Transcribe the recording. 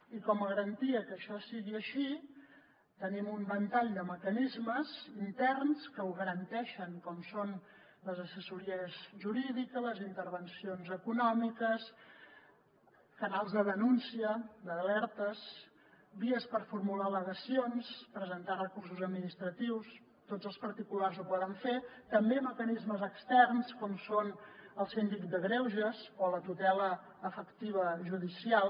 i com a garantia que això sigui així tenim un ventall de mecanismes interns que ho garanteixen com són les assessories jurídiques les intervencions econòmiques canals de denúncia d’alertes vies per formular al·legacions presentar recursos administratius tots els particulars ho poden fer també mecanismes externs com són el síndic de greuges o la tutela efectiva judicial